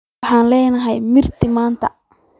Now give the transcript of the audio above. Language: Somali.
Waxaan leenahay marti maanta.